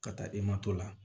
Ka taa i ma to la